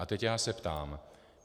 A teď já se ptám.